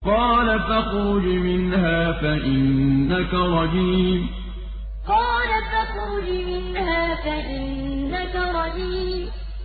قَالَ فَاخْرُجْ مِنْهَا فَإِنَّكَ رَجِيمٌ قَالَ فَاخْرُجْ مِنْهَا فَإِنَّكَ رَجِيمٌ